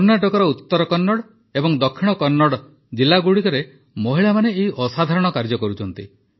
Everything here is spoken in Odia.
କର୍ଣ୍ଣାଟକର ଉତ୍ତର କନ୍ନଡ଼ ଏବଂ ଦକ୍ଷିଣ କନ୍ନଡ଼ ଜିଲାଗୁଡ଼ିକରେ ମହିଳାମାନେ ଏହି ଅସାଧାରଣ କାର୍ଯ୍ୟ କରୁଛନ୍ତି